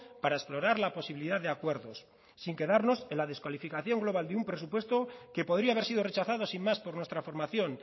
para explorar la posibilidad de acuerdos sin quedarnos en la descalificación global de un presupuesto que podría haber sido rechazado sin más por nuestra formación